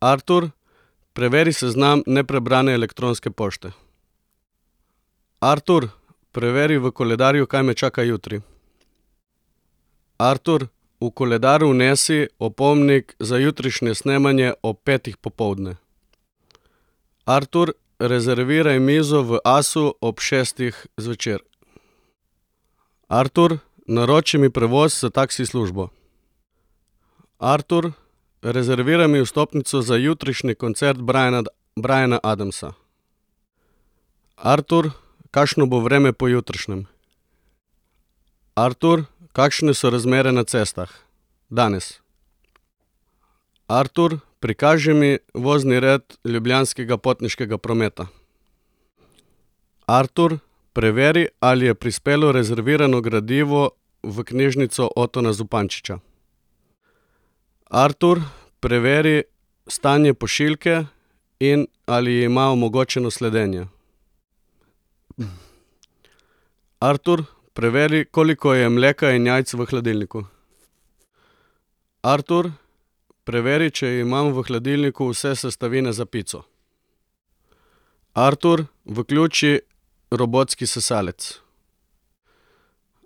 Artur, preveri seznam neprebrane elektronske pošte. Artur, preveri v koledarju, kaj me čaka jutri. Artur, v koledar vnesi opomnik za jutrišnje snemanje ob petih popoldne. Artur, rezerviraj mizo v Asu ob šestih zvečer. Artur, naroči mi prevoz s taksi službo. Artur, rezerviraj mi vstopnico za jutrišnji koncert Brian Briana Adamsa. Artur, kakšno bo vreme pojutrišnjem? Artur, kakšne so razmere na cestah danes? Artur, prikaži mi vozni red Ljubljanskega potniškega prometa. Artur, preveri, ali je prispelo rezervirano gradivo v knjižnico Otona Zupančiča. Artur, preveri stanje pošiljke in ali ima omogočeno sledenje. Artur, preveri, koliko je mleka in jajc v hladilniku. Artur, preveri, če imam v hladilniku vse sestavine za pico. Artur, vključi robotski sesalec.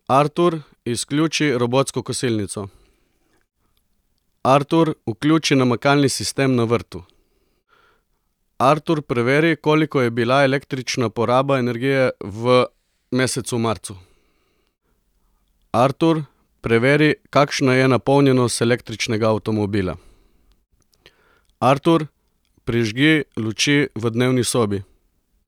Artur, izključi robotsko kosilnico. Artur, vključi namakalni sistem na vrtu. Artur, preveri, koliko je bila električna poraba energije v mesecu marcu. Artur, preveri, kakšna je napolnjenost električnega avtomobila. Artur, prižgi luči v dnevni sobi.